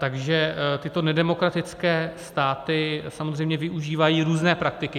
Takže tyto nedemokratické státy samozřejmě využívají různé praktiky.